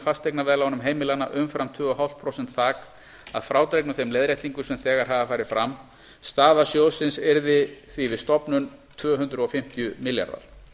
fasteignaveðlánum heimilanna umfram tvö og hálft prósent þak að frádregnum þeim leiðréttingum sem þegar hafa farið fram staða sjóðsins yrði því við stofnun tvö hundruð fimmtíu milljarðar